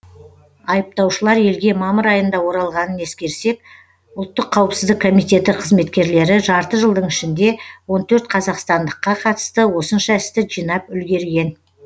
айыптаушылар елге мамыр айында оралғанын ескерсек ұлттық қауіпсіздік комитеті қызметкерлері жарты жылдың ішінде он төрт қазақстандыққа қатысты осынша істі жинап үлгерген